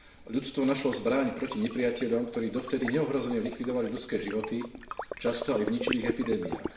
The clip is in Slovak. Ľudstvo našlo zbraň proti nepriateľom, ktorý dovtedy neohrozene likvidovali ľudské životy, často aj v ničivých epidémiách.